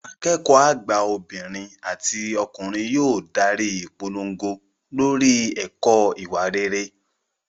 Akẹ́kọ̀ọ́ àgbà obìnrin àti ọkùnrin yóò darí ìpolongo lórí ẹ̀kọ́ ìwà rere